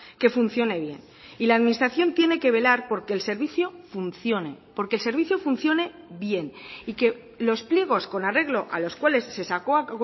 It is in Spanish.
que funcione bien y la administración tiene que velar por que el servicio funcione por que el servicio funcione bien y que los pliegos con arreglo a los cuales se sacó a